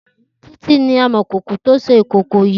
Titi ni ámọ̀kòkò tó ṣé ikókó yi